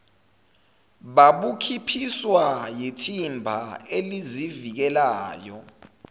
babuphikiswa yithimba elizivikelayo